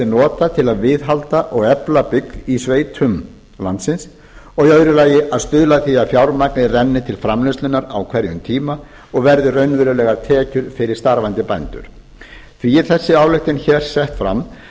notað til að viðhalda og efla byggð í sveitum landsins annars stuðla að því að fjármagnið renni til framleiðslunnar á hverjum tíma og verði raunverulegar tekjur fyrir starfandi bændur því er þessi ályktun hér sett fram